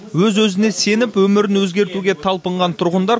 өз өзіне сеніп өмірін өзгертуге талпынған тұрғындар